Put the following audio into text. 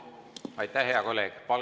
Aitäh, hea kolleeg!